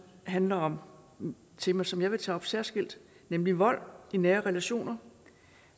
handler om et tema som jeg vil tage op særskilt nemlig vold i nære relationer